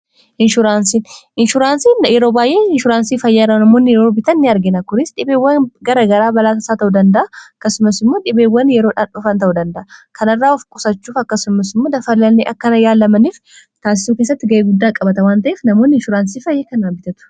inshuraansii yeroo baay'ee inshuraansii fayyaara namoonni yrobitan ni argina kunis dhibeewwan gara garaa balaasaa ta'uu dandaa akkasumas immoo dhibeewwan yeroondhofan ta'uu danda kanarraa of qusachuuf akkasumas immoo dafalani akkana yaalamaniif taansiisu kessatti ga'ee guddaa qabata wan ta'eef namoonni insuraansii fayyee kan albitatu